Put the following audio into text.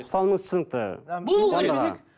ұстанымыңыз түсінікті болу керек